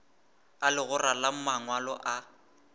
a legora la mangwalo a